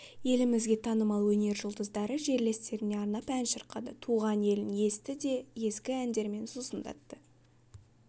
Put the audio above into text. елімізге танымал өнер жұлдыздары жерлестеріне арнап ән шырқады туған елін есті де ескі әндермен сусындатты